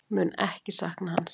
Mun ekki sakna hans.